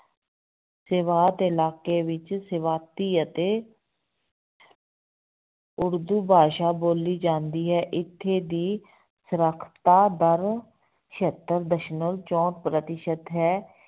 ਸੇਵਾਤ ਇਲਾਕੇ ਵਿੱਚ ਸੇਵਾਤੀ ਅਤੇ ਉਰਦੂ ਭਾਸ਼ਾ ਬੋਲੀ ਜਾਂਦੀ ਹੈ ਇੱਥੇ ਦੀ ਸਾਖ਼ਰਤਾ ਦਰ ਛਿਅੱਤਰ ਦਸਮਲਵ ਚੋਂਹਠ ਪ੍ਰਤੀਸ਼ਤ ਹੈ।